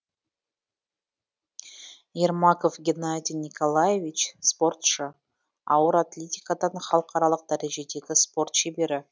ермаков геннадий николаевич спортшы ауыр атлетикадан халықаралық дәрежедегі спорт шебері